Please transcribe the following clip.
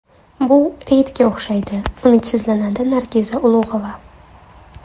Bu reydga o‘xshaydi”, umidsizlanadi Nargiza Ulug‘ova.